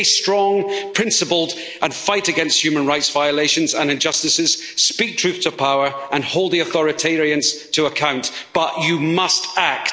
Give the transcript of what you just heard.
Stay strong and principled and fight against human rights violations and injustices, speak truth to power and hold, the authoritarians to account, but you must act.